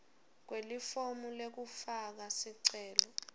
kwelifomu lekufaka sicelo